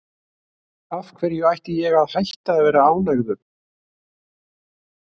Af hverju ætti ég að hætta að vera ánægður?